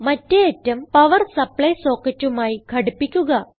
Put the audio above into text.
മറ്റേ അറ്റം power supply socketമായി ഘടിപ്പിക്കുക